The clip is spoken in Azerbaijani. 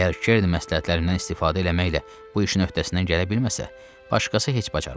Əgər Kern məsləhətlərindən istifadə eləməklə bu işin öhdəsindən gələ bilməsə, başqası heç bacarmaz.